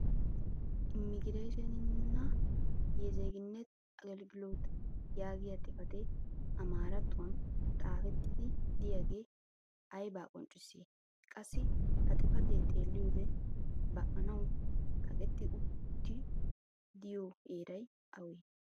immigireeshenninna yezeeginnet aggelgilooti yaagiya xifatee amaarattuwan xaafettidi diyaagee aybaa qonccissii? qassi ha xifatee xeeliyoode ba'anawu kaqetti utti diyo heeray awee?